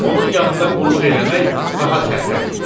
Onun yanında qulluq eləmək daha sərfəli idi.